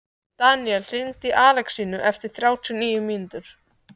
Daníel, hringdu í Alexínu eftir þrjátíu og níu mínútur.